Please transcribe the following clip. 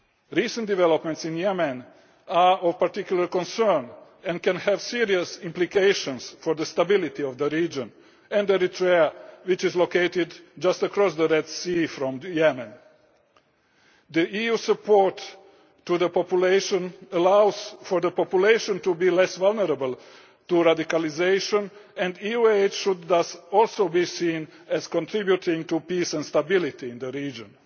to the region. Recent developments in Yemen are of particular concern and may have serious implications for the stability of the region and of Eritrea, which is located just across the Red Sea from Yemen. The EU support for the population enables people to be less vulnerable to radicalisation, and EU aid should thus also be seen as contributing to peace and stability